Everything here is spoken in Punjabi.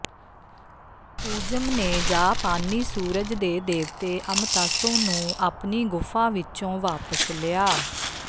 ਊਜਮ ਨੇ ਜਾਪਾਨੀ ਸੂਰਜ ਦੇ ਦੇਵਤੇ ਅਮਤਾਸੁ ਨੂੰ ਆਪਣੀ ਗੁਫਾ ਵਿੱਚੋਂ ਵਾਪਸ ਲਿਆ